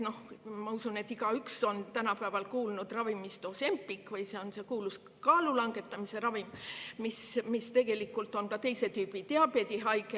Ma usun, et igaüks on kuulnud ravimist Ozempic, see on see kuulus kaalulangetamise ravim, mis tegelikult on teise tüübi diabeedi ravim.